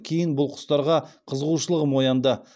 кейін бұл құстарға қызығушылығым оянды